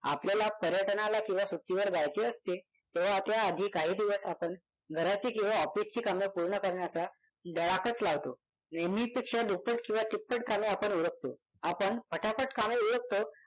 आपल्याला पर्यटनाला किंवा सुट्टीवर जायचे असते तेव्हा त्याआधी काही दिवस आपण घराची किंवा office ची कामे पूर्ण करण्याचा धडाकाच लावतो. नेहमीपेक्षा दुप्पट किंवा तिप्पट कामे आपण उरकतो. आपण फटाफट कामे उरकतो.